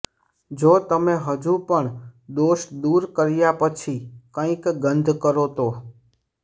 જો તમે હજુ પણ દોષ દૂર કર્યા પછી કંઈક ગંધ કરો તો